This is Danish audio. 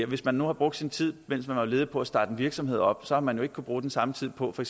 hvis man nu har brugt sin tid mens man er ledig på at starte en virksomhed op så har man jo ikke kunnet bruge den samme tid på for